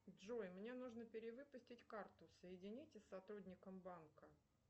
джой мне нужно перевыпустить карту соедините с сотрудником банка